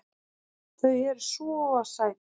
Þau eru SVO SÆT!